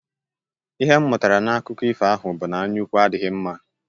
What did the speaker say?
Ihe m mụtara n'akụkọ ifo ahụ bụ na anyaukwu adịghị mma.